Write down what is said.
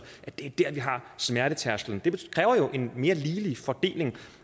at det er der vi har smertetærsklen det kræver jo en mere ligelig fordeling